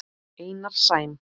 Einar Sæm.